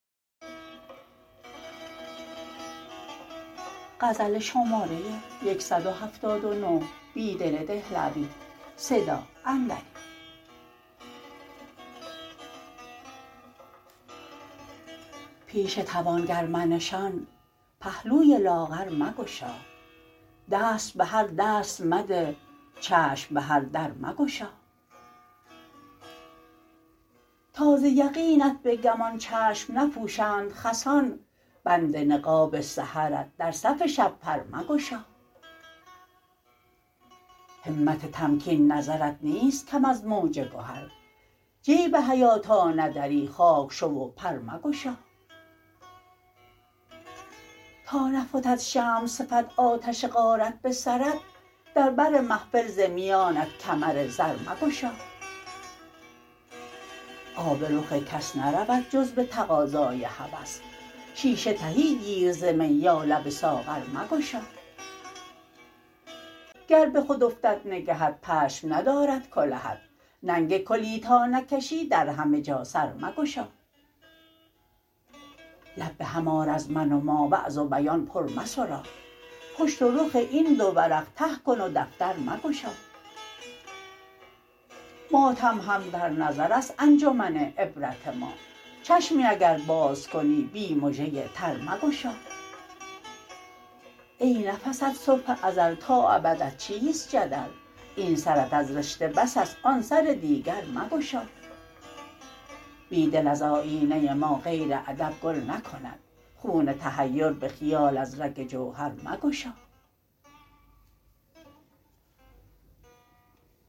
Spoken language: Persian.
پیش توانگر منشان پهلوی لاغر مگشا دست به هر دست مده چشم به هر در مگشا تا ز یقینت به گمان چشم نپوشند خسان بند نقاب سحرت در صف شب پر مگشا همت تمکین نظرت نیست کم از موج گهر جیب حیا تا ندری خاک شو و پر مگشا تا نفتد شمع صفت آتش غارت به سرت در بر محفل ز میانت کمر زر مگشا آب رخ کس نرود جز به تقاضای هوس شیشه تهی گیر ز می یا لب ساغر مگشا گر به خود افتد نگهت پشم ندارد کلهت ننگ کلی تا نکشی در همه جا سر مگشا لب به هم آر از من و ما وعظ و بیان پر مسرا پشت و رخ این دو ورق ته کن و دفتر مگشا ماتم هم در نظر است انجمن عبرت ما چشمی اگر باز کنی بی مژه تر مگشا ای نفست صبح ازل تا ابدت چیست جدل یک سرت از رشته بس است آن سر دیگر مگشا بیدل از آیینه ما غیر ادب گل نکند خون تحیر به خیال از رگ جوهر مگشا